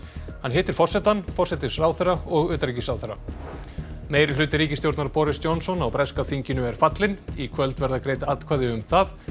hann hittir forsetann forsætisráðherra og utanríkisráðherra meirihluti ríkisstjórnar Boris Johnson á breska þinginu er fallinn í kvöld verða greidd atkvæði um það